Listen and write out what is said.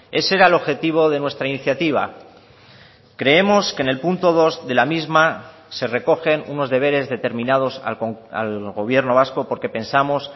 ese era el objetivo de nuestra iniciativa creemos que en el punto dos de la misma se recogen unos deberes determinados al gobierno vasco porque pensamos